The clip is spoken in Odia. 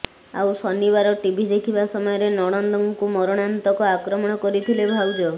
ଆଉ ଶନିବାର ଟିଭି ଦେଖିବା ସମୟରେ ନଣନ୍ଦଙ୍କୁ ମରଣାନ୍ତକ ଆକ୍ରମଣ କରିଥିଲେ ଭାଉଜ